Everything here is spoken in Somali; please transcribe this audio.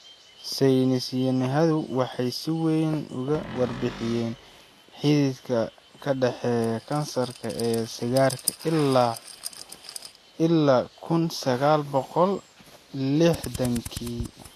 Saynis yahanadu waxay si weyn uga warbixiyeen xidhiidhka ka dhexeeya kansarka iyo sigaarka ilaa kun sagaal boqol lixxdankii.